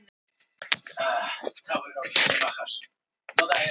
Sýslumaður sat fram í hjá bílstjóranum en ég aftur í með rolluna.